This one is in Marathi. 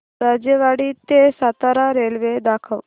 राजेवाडी ते सातारा रेल्वे दाखव